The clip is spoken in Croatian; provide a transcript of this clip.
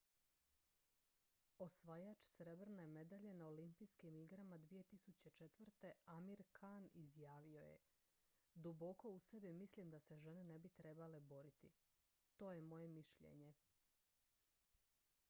"osvajač srebrne medalje na olimpijskim igrama 2004. amir khan izjavio je: "duboko u sebi mislim da se žene ne bi trebale boriti. to je moje mišljenje.""